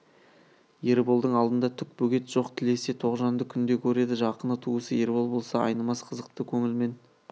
ерболдың алдында түк бөгет жоқ тілесе тоғжанды күнде көреді жақыны туысы ербол болса айнымас қызықты көңілмен